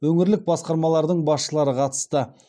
өңірлік басқармалардың басшылары қатысты